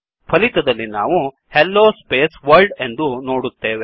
ಫಲಿತದಲ್ಲಿ ನಾವು hello space world ಎಂದು ನೋಡುತ್ತೇವೆ